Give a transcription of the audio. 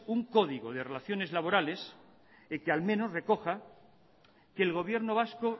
un código de relaciones laborales que al menos recoja que el gobierno vasco